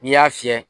N'i y'a fiyɛ